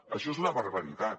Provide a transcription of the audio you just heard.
això és una barbaritat